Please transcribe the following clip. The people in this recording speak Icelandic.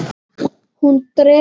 Hún dregur andann.